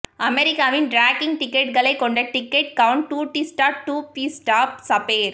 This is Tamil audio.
அமெரிக்காவின் ட்ராக்கிங் டிக்கெட்களைக் கொண்ட டிக்கெட் கவுன்ட் டூடிஸ்டா ட்யூபிஸ்டா சபேர்